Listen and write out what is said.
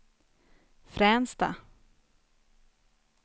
Fränsta